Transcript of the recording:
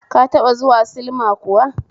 Ka taba zuwa silma kuwa?